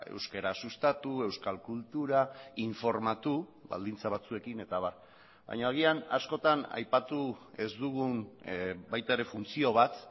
euskara sustatu euskal kultura informatu baldintza batzuekin eta abar baina agian askotan aipatu ez dugun baita ere funtzio bat